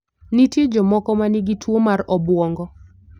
Nitie jomoko ma nigi tuwo mar obwongo.